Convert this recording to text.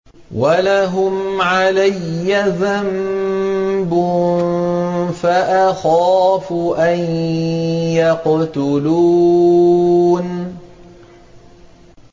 وَلَهُمْ عَلَيَّ ذَنبٌ فَأَخَافُ أَن يَقْتُلُونِ